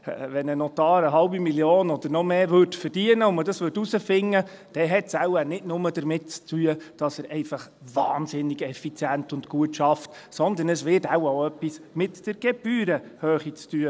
Wenn ein Notar eine halbe Million oder noch mehr verdienen würde und man dies herausfinden würde, hätte dies wohl nicht nur damit zu tun, dass er einfach wahnsinnig effizient und gut arbeitet, sondern es hätte wohl auch etwas mit der Gebührenhöhe zu tun.